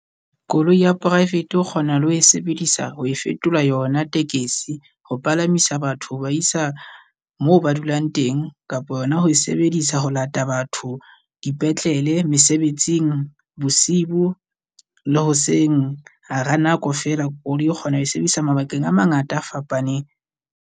Koloi ya private o kgona le ho e sebedisa ho e fetola yona tekesi, ho palamisa batho ho ba isa moo ba dulang teng kapa yona ho e sebedisa ho lata batho dipetlele, mesebetsing, bosibo le hoseng. Hara nako feela koloi e kgona ho e sebedisa mabakeng a mangata a fapaneng.